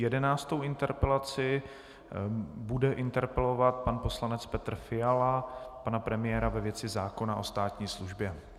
Jedenáctou interpelací bude interpelovat pan poslanec Petr Fiala pana premiéra ve věci zákona o státní službě.